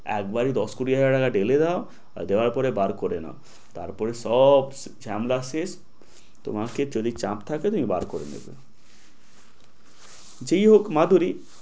একবারে দশ কোটি টাকা ঢেলে দাও আর যাওয়ার পরে বার করে নাও তারপরে সব ঝামেলা শেষ তোমাকে যদি চাপ থাকে তুমি বার করে নেবে যায় হউক মাধুরী